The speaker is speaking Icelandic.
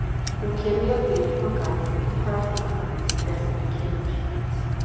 Nú kem ég að dyrum á Garði og hvað tekur þá við þegar inn kemur?